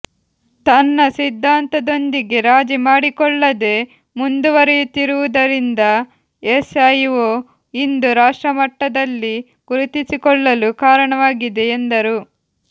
ತನ್ನ ಸಿದ್ಧಾಂತದೊಂದಿಗೆ ರಾಜಿ ಮಾಡಿಕೊಳ್ಳದೆ ಮುಂದುವರಿಯುತ್ತಿರುವುದರಿಂದ ಎಸ್ ಐ ಓ ಇಂದು ರಾಷ್ಟಮಟ್ಟದಲ್ಲಿ ಗುರುತಿಸಿಕೊಳ್ಳಲು ಕಾರಣವಾಗಿದೆ ಎಂದರು